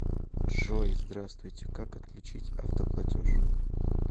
джой здраствуйте как отключить автоплатеж